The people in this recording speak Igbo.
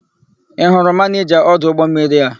Ị hụrụ manịja ọdụ ụgbọmmiri a?